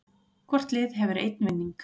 Hvort lið hefur einn vinning